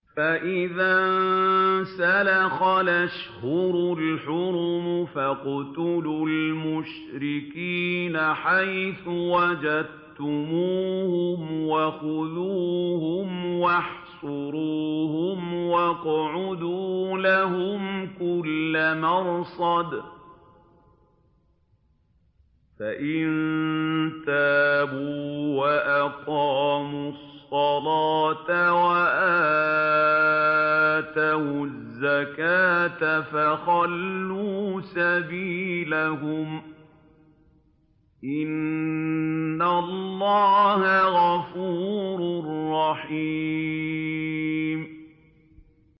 فَإِذَا انسَلَخَ الْأَشْهُرُ الْحُرُمُ فَاقْتُلُوا الْمُشْرِكِينَ حَيْثُ وَجَدتُّمُوهُمْ وَخُذُوهُمْ وَاحْصُرُوهُمْ وَاقْعُدُوا لَهُمْ كُلَّ مَرْصَدٍ ۚ فَإِن تَابُوا وَأَقَامُوا الصَّلَاةَ وَآتَوُا الزَّكَاةَ فَخَلُّوا سَبِيلَهُمْ ۚ إِنَّ اللَّهَ غَفُورٌ رَّحِيمٌ